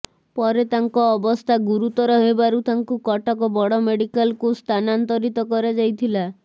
ପରେ ତାଙ୍କ ଅବସ୍ଥା ଗୁରୁତର ହେବାରୁ ତାଙ୍କୁ କଟକ ବଡ଼ ମେଡିକାଲ୍କୁ ସ୍ଥାନାନ୍ତରିତ କରାଯାଇଥିଲା